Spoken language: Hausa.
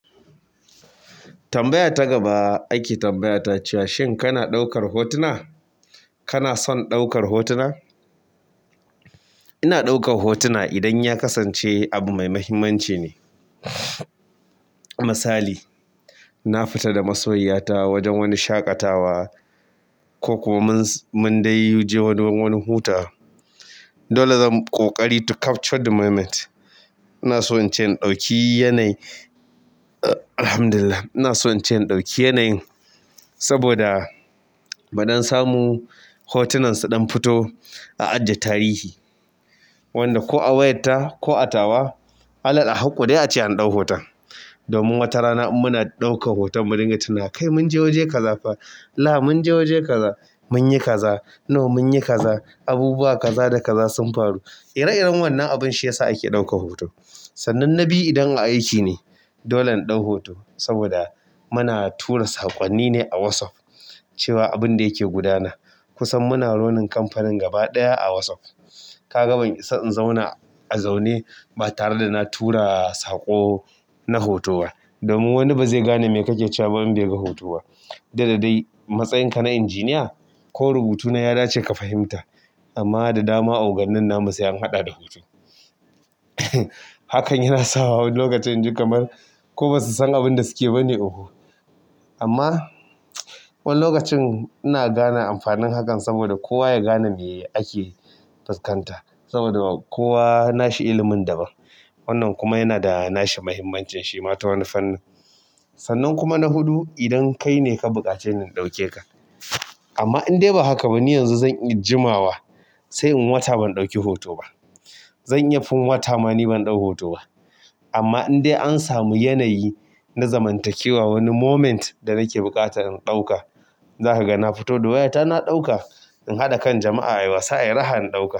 Tambaya ta gaba ake tambayata cewa shin kana ɗaukar hotuna? Kana son ɗaukar hotuna? Ina ɗaukar hotuna idan ya kasance abu mai mahimmanci ne. Misali, na fita da masoyiyata wajen wani shaƙatawa ko kuma mun, mun dai je wani, wani wurin hutawa. Dole zan ƙoƙari to capture the moment. Ina so in ce ina ɗauki yanayi. Alhamdulillah. Ina so in ce ina ɗauki yanayin saboda mu dan samu hotunan su ɗan fito a ajiye tarihi. Wanda ko a wayarta, ko a tawa, alal a hakku dai ace in ɗau hoton. Domin wata rana in muna ɗaukan hoton mu dinga tuna kai mun je waje kaza fa, la mun je waje kaza, mun yi kaza. No mun yi kaza, abubuwa kaza da kaza sun faru. Ire-iren wannan abin shi ya sa ake ɗaukan hoto. Sannan na biyu idan a aiki ne. Dole in ɗau hoto saboda muna tura saƙonni ne a Whatsapp cewa abinda yake gudana. Kusan muna running kamfanin gaba ɗaya a WhatsApp. Ka ga ban isa in zauna a zaune ba tare da na tura saƙo na hoto ba. Domin wani ba zai gane me kake cewa ba in bai ga hotowa. Duk da dai matsayin ka na injiniya ko rubutu na ya dace ka fahimta amma da dama oganin na mu sai an haɗa da hoto. Hakan yana sawa wani lokacin ji kamar ko ba su san abin da suke ba ne oho. Amma wani lokacin ina gane amfanin hankalnsaboda kowa ya gane me ake fuskanta. Saboda kowa nashi ilimin daban. Wannan kuma yana da nashi mahimmancin shi ma ta wani fannin. Sannan kuma na huɗu idan kai ne ka buƙaci ni in ɗauke ka. Amma in dai ba haka ba ni yanzu zan iya jimawa sai in wata ban ɗauki hoto ba. Zan iya fin wata ma ni ban ɗau hoton ba. Amma in dai an samu yanayi na zamantakewa wani moment da nake buƙata in ɗauka, zaka ga na fito da wayata na ɗauka. In haɗa kan jama'a a wasa ai raha in ɗauka.